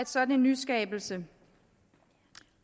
sådan nyskabelse